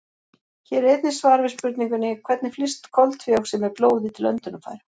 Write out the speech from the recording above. Hér er einnig svar við spurningunni: Hvernig flyst koltvíoxíð með blóði til öndunarfæra?